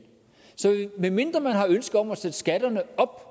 så medmindre man har et ønske om at sætte skatterne op